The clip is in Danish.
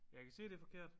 Jeg kan se det er forkert